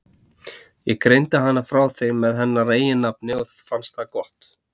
Ég greindi hana frá þeim með hennar eigin nafni og fannst það gott.